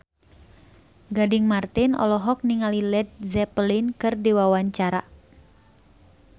Gading Marten olohok ningali Led Zeppelin keur diwawancara